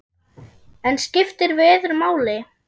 En skiptir veður máli?